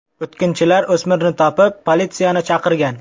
O‘tkinchilar o‘smirni topib politsiyani chaqirgan.